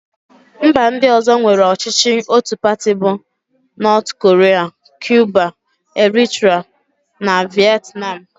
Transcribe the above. Mba ndị ọ̀zọ́ nwere ọchịchị ótù pati bụ: Nọọt korịa, Kiuba, Eritra, na Vietnam.